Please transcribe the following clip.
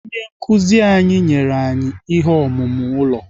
Onye nkụzi anyị enyela anyị ihe omume ụlọ.